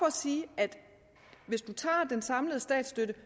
at sige at hvis du tager den samlede statsstøtte